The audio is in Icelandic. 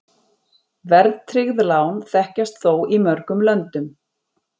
Verðtryggð lán þekkjast þó í mörgum löndum.